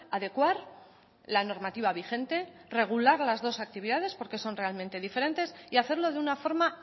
adecuar la normativa vigente regular las dos actividades porque son realmente diferentes y hacerlo de una forma